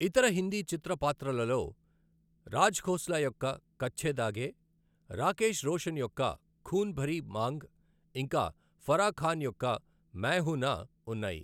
ఇతర హిందీ చిత్ర పాత్రలలో రాజ్ ఖోస్లా యొక్క కచ్చే ధాగే, రాకేశ్ రోషన్ యొక్క ఖూన్ భరీ మాంగ్, ఇంకా ఫరా ఖాన్ యొక్క మై హూ నా ఉన్నాయి.